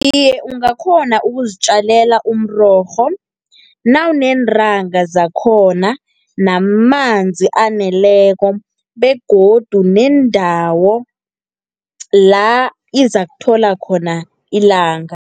Iye ungakghona ukuzitjalela umrorho, nawuneentanga zakhona, namanzi aneleko, begodu nendawo la izakuthola khona ilanga.